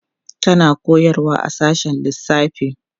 tana koyarwa a sashen lissafi